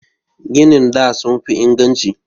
Ginin da sun fi inganci.